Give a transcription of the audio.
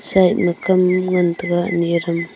side ma kam ngan taga ani aram.